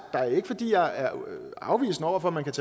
er ikke fordi jeg er afvisende over for at man kan